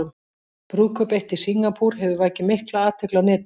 Brúðkaup eitt í Singapúr hefur vakið mikla athygli á netinu.